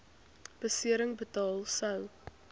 besering betaal sou